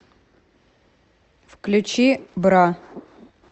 включи бра